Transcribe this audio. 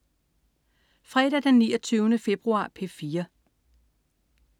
Fredag den 29. februar - P4: